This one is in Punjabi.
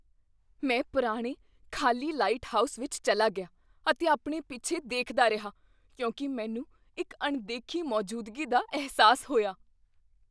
ਮੈਂ ਪੁਰਾਣੇ ਖ਼ਾਲੀ ਲਾਈਟਹਾਊਸ ਵਿੱਚ ਚੱਲਾ ਗਿਆ ਅਤੇ ਆਪਣੇ ਪਿੱਛੇ ਦੇਖਦਾ ਰਿਹਾ ਕਿਉਂਕਿ ਮੈਨੂੰ ਇੱਕ ਅਣਦੇਖੀ ਮੌਜੂਦਗੀ ਦਾ ਅਹਿਸਾਸ ਹੋਇਆ।